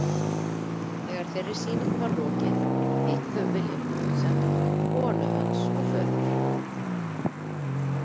Þegar þeirri sýningu var lokið hittu þau Vilhjálm Knudsen, konu hans og föður.